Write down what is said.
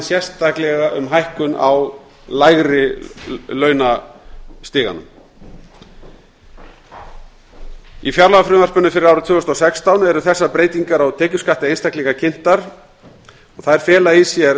sérstaklega um hækkun á lægri launastiganum í fjárlagafrumvarpinu fyrir árið tvö þúsund og sextán eru þessar breytingarnar á tekjuskatti einstaklinga kynntar og þær fela í sér